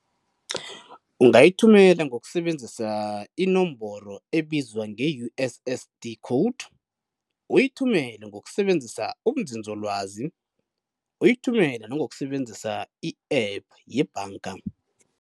Ungayithumela ngokusebenzisa inomboro ebizwa nge-U_S_S_D code, uyithumele ngokusebenzisa ubunzinzolwazi, uyithumele nangokusebenzisa i-app yebhanga.